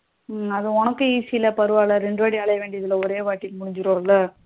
அது உனக்கும் easy ல பரவல்ல ரெண்டு வாட்டி அலையா வேண்டியாது இல்ல ஒரே வாட்டி முடிஞ்சிடும்ல